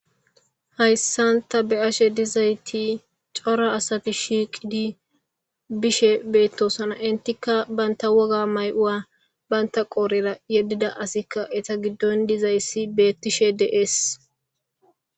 hayssan ta be'ashe dizayti cora asati shiiqidi bishe beettosana entikka baynta woga mayi'uwa banta qoorera yeddida asikka eta giddon dizayssi beettishe de'ees